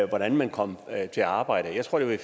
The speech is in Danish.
hvordan man kom til arbejde jeg tror det var i